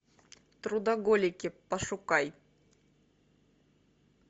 трудоголики пошукай